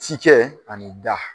Si kɛ ani da